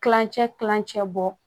Kilancɛ kilancɛ bɔ